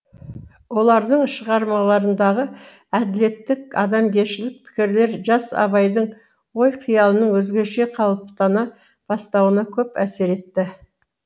олардың шығармаларындағы әділеттік адамгершілік пікірлер жас абайдың ой қиялының өзгеше қалыптана бастауына көп әсер етті